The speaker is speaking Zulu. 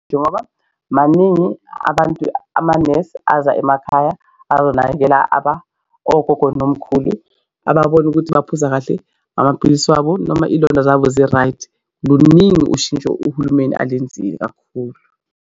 Njengoba maningi abantu amanesi, aza emakhaya ayonakekela ogogo nomkhulu ababone ukuthi baphuza kahle amapilisi wabo noma iy'londa zabo zi-right luningi ushintsho uhulumeni alenzile kakhulu.